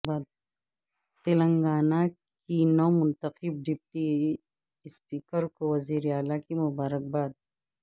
تلنگانہ کے نو منتخب ڈپٹی اسپیکر کو وزیراعلی کی مبارکباد